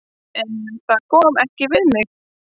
En það kom ekki við mig.